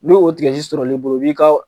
N'o o sɔrɔl'i bolo o b'i ka